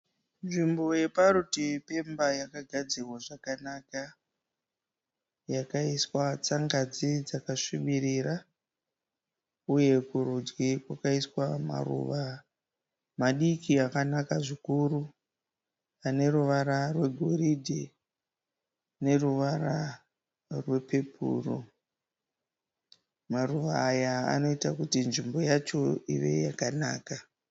Nzvimbo parutivi pemba yakagadzirwa zvakanaka yakaiswa tsangadzi dzakasvibiririra uye kurudyi kwakaiswa maruva madiki akanaka zvikuru aneruvara rwegoridhe neruvara rwepepuru. Maruva aya anoita kuti nzvimbo yacho ive yakanaka.